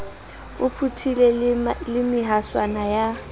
o phuthile le mehaswana ya